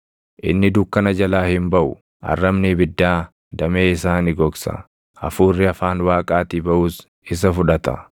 Inni dukkana jalaa hin baʼu; arrabni ibiddaa damee isaa ni gogsa; hafuurri afaan Waaqaatii baʼus isa fudhata.